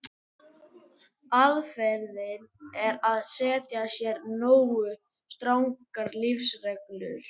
Aðferðin er að setja sér nógu strangar lífsreglur.